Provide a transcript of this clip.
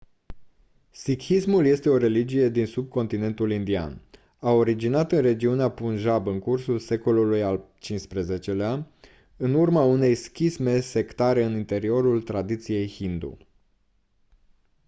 sikhismul este o religie din subcontinentul indian a originat în regiunea punjab în cursul secolului al xv-lea în urma unei schisme sectare în interiorul tradiției hindu